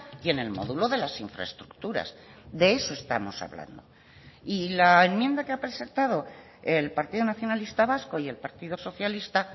y en el módulo de las infraestructuras de eso estamos hablando y la enmienda que ha presentado el partido nacionalista vasco y el partido socialista